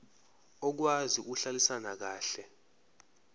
okwazi ukuhlalisana kahle